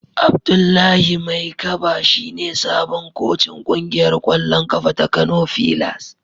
Abdullahi Maikaba shine sabon kocin kungiyar kwallon kafa ta Kano fillars.